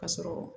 Ka sɔrɔ